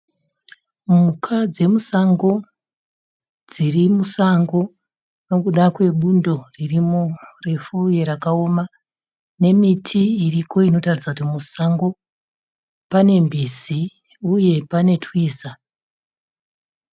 Mhuka dzemusango dziri musango nokuda kwebundo ririmo refu uye rakaoma nemiti iriko inoratidza kuti musango. Pane mbizi uye pane twiza.